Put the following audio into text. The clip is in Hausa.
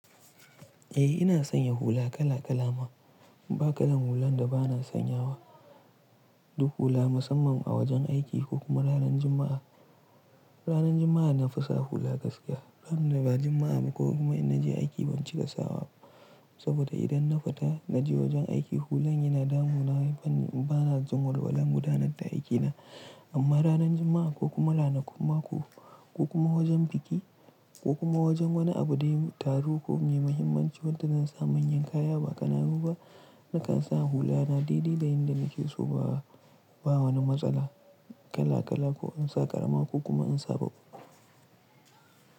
Eh ina sanya hula kala kala ma, ba kalan hulan da bana sanyawa, duk hula musamman a wajen aiki ko kuma ranar Juma'a. Ranar Juma'a na fi sa hula gaskiya. Ranar ba Juma'a ba ko kuma ina je aiki ban cika sawa ba. Saboda idan na fita na je wajen aiki hulan yana damuna, bana jin walwala gudanar da aikina. Amma ranar Juma'a ko kuma ranar kun mako ko kuma wajen biki ko kuma wajen wani abu dai taro ko me muhimmancin wadda zan sa manyan kaya ba kananu ba, nakan sa hula na daidai da in da nake so ba wani matsala kala-kala ko in sa ƙarama ko kuma in sa baƙi.